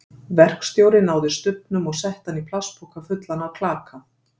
Verkstjóri náði stubbnum og setti hann í plastpoka fullan af klaka.